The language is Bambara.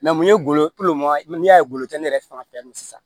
mun ye golo ye n'i y'a ye golo tɛ ne yɛrɛ fan fɛ yan nɔ sisan